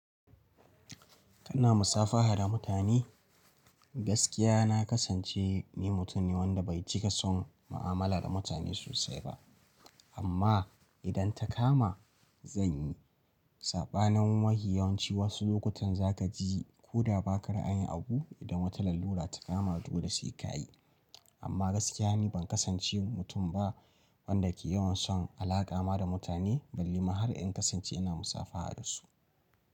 Kana musabaha da mutane? Gaskiya na kasance ni mutum ne wanda bai cika son mu'amalar mutane sosai ba amma idan ta kama zan yi. Saɓanin mafi yawanci wasu lokutan za ka ji koda baka ra'ayin abu idan wata lalura ta kama dole sai ka yi. Amma gaskiya ne ban kasance mutum ba wanda ke yawan son alaka ma da mutane ballema har in kasance ina musafaha da su.